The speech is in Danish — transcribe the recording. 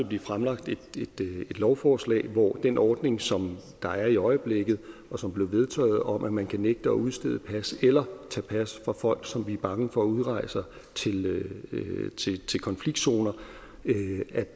blive fremsat et nyt lovforslag den ordning som der er i øjeblikket og som blev vedtaget om at man kan nægte at udstede pas eller tage pas fra folk som vi er bange for udrejser til konfliktzoner